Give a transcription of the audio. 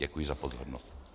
Děkuji za pozornost.